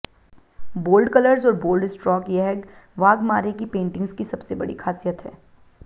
bold colours और bold stroke यहग वाघमारे की पैंटिंग्स की सबसे बड़ी खासियत है